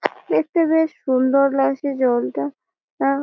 দেখতে বেশ সুন্দর লাগছে জলটা আ--